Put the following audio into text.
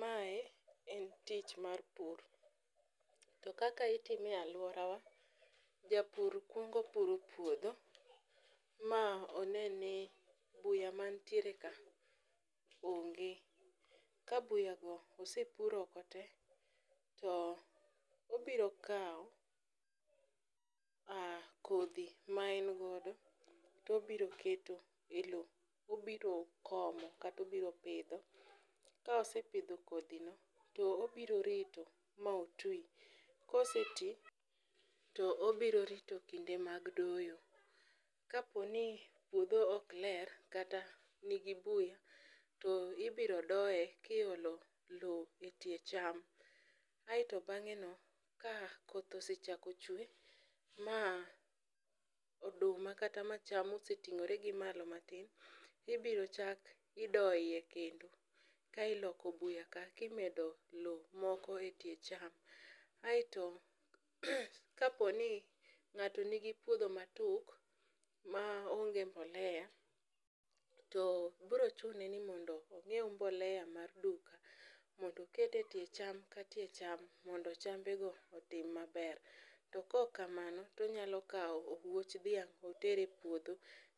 Mae en tich mar pur to kaka itime e aluorawa, japur kuongo puro puodho ma one ni buya mantiere karka onge. Ka buyago osepur oko te to obiro kawo kodhi maen godo to obiro keto elowo obiro komo mkata obiro pidho, Ka osepidho kodhino to obiro rito ma otwi. Ka oseti to obiro rito kinde doyo. Ka opo ni puodho ok ler, kata nigi buya to ibiro doye to iolo lowo etie cham aeto bang'eno ka koth osechako chwe ma oduma kata ma cham oseting'ore gi malo matin, ibiro chak idoyo iye kendo ka iloko buya ka kimedo lowo moko etie cham. Aeto kaponi ng'ato nigi puodho matuk maonge mbolea to biro chune ni mondo onyiew mbolea mar duka mondo oket etie chamka tie cham mondo chambego otim maber. Kaok kamano to obiro kao owuoch dhiang' oter a puodho.